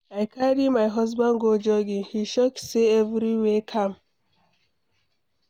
I carry my husband go jogging, he shock say everywhere calm.